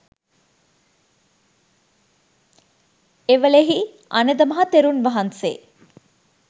එවේලෙහි අනද මහ තෙරුන් වහන්සේ